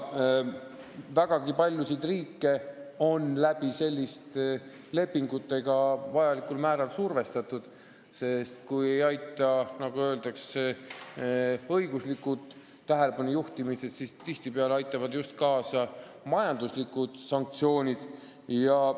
Vägagi paljusid riike on selliste lepingutega vajalikul määral survestatud, sest kui ei aita, nagu öeldakse, õiguslik tähelepanu juhtimine, siis tihtipeale aitavad just majanduslikud sanktsioonid.